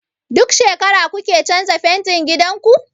Duk shekara kuke canza fentin gidan ku?